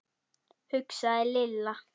hugsaði Lilla.